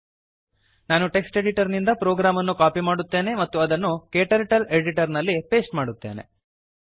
ನಾನು text editor ನಿಂದ program ಅನ್ನು ಕಾಪಿ ಮಾಡುತ್ತೇನೆ ಮತ್ತು ಅದನ್ನು ಕ್ಟರ್ಟಲ್ ಎಡಿಟರ್ ನಲ್ಲಿ ಪೇಸ್ಟ್ ಮಾಡುತ್ತೇನೆ